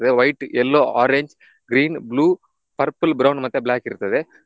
White, yellow, orange, green, blue, purple, brown ಮತ್ತೆ black ಇರ್ತದೆ.